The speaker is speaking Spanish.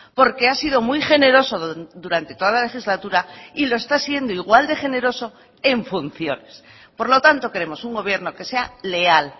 porque ha sido muy generoso durante toda la legislatura y lo está siendo igual de generoso en funciones por lo tanto queremos un gobierno que sea leal